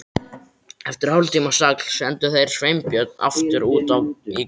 Eftir hálftíma stagl sendu þeir Sveinbjörn aftur út í grá